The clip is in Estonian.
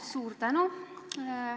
Suur tänu!